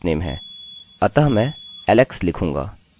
मेरा lastname मैं garret लिखूँगा